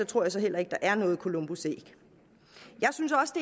tror jeg så heller ikke der er noget columbusæg